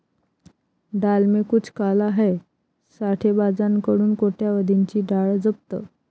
डाल में कुछ काला हैं', साठेबाजांकडून कोट्यवधींची डाळ जप्त